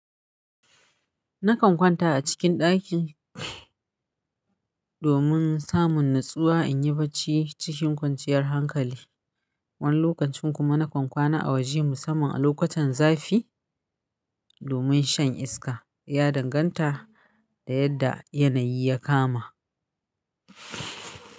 Nakan kwanta a cikin ɗaki domin samun natsuwa in yi barci cikin kwanciyar hankali. Wani lokacin kuma nakan kwana a waje musamman a lokutan zafi domin shan iska. Ya danganta da yadda yanayi ya kama.